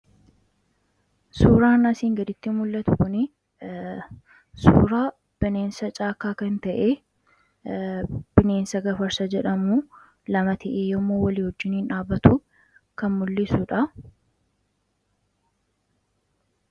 Suuraan asiin gaditti mul'atu kunii suuraa bineensa caakkaa kan ta'e, bineensa Gafarsa jedhamu lama ta'ee yommuu walii wajjiniin dhaabatu kan mul'isuu dha.